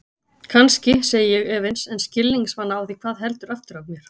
Kannski, segi ég efins en skilningsvana á því hvað heldur aftur af mér.